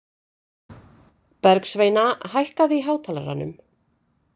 Bergsveina, hækkaðu í hátalaranum.